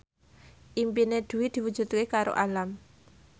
impine Dwi diwujudke karo Alam